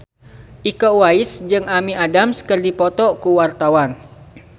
Iko Uwais jeung Amy Adams keur dipoto ku wartawan